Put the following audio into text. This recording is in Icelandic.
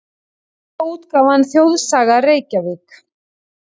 Bókaútgáfan Þjóðsaga, Reykjavík.